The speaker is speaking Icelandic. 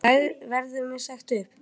Verður mér sagt upp?